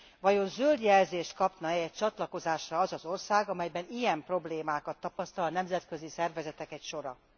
Vajon zöld jelzést kapna e a csatlakozásra az az ország, amelyben ilyen problémákat tapasztal a nemzetközi szervezetek sora.